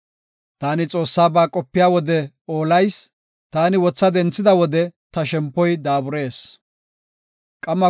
Taani Xoossaba qopiya wode oolayis; taani wotha denthida wode ta shempoy daaburees. Salaha